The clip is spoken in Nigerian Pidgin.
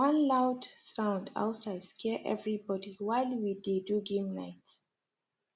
one loud sound outside scare everybody while we dey do game night